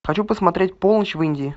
хочу посмотреть полночь в индии